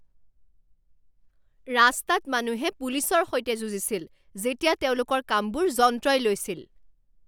ৰাস্তাত মানুহে পুলিচৰ সৈতে যুঁজিছিল যেতিয়া তেওঁলোকৰ কামবোৰ যন্ত্ৰই লৈছিল